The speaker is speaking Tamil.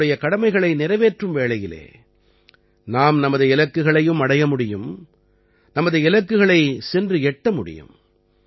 தங்களுடைய கடமைகளை நிறைவேற்றும் வேளையிலே நாம் நமது இலக்குகளையும் அடைய முடியும் நமது இலக்குகளைச் சென்று எட்ட முடியும்